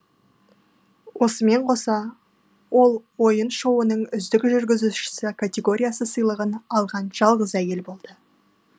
осымен қоса ол ойын шоуының үздік жүргізуші категория сыйлығын алған жалғыз әйел болды